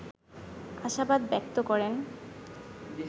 আশাবাদ ব্যক্ত করেন